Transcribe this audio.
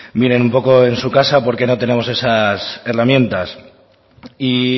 miren un poco en su casa porqué no tenemos esas herramientas y